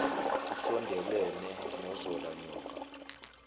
usondelene nozola nyoka